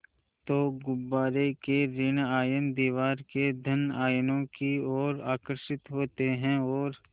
तो गुब्बारे के ॠण आयन दीवार के धन आयनों की ओर आकर्षित होते हैं और